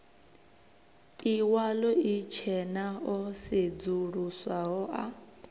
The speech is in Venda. iwalo itshena o sedzuluswaho a